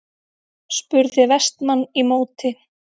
spurði Vestmann í móti.